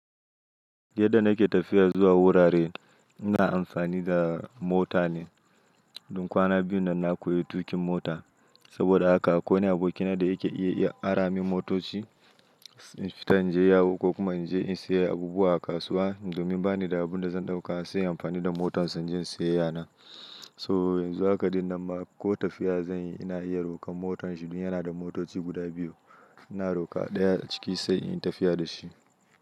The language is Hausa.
Yadda nake tafiya zuwa wurare, ina amfani da mota ne. Dun kwana biyu nan na koyi tuƙin mota. Saboda haka akwai wanj aboki na da yake iya ya ara min motoci, in fita inje yawo ko kuma in je in sayi abubuwa a kasuwa. Domin bani da abin da zan ɗauka sai inyi amfani da motar sa in je inyi sayayyana. So yanzu haka dinnan ma ko tafiya zan yi ina iya rokar motar shi, domin yana da motoci guda biyu. Ina rokar ɗaya ciki sai in yi tafiya da shi.